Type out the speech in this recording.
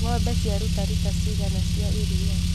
Ngombe ciaruta rita cigana cia iria.